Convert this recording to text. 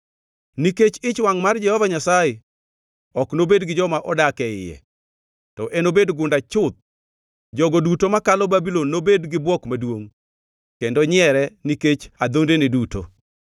Nikech ich wangʼ mar Jehova Nyasaye, ok nobed gi joma odak e iye, to enobed gunda chuth. Jogo duto makalo Babulon, nobed gi bwok maduongʼ kendo nyiere nikech adhondene duto.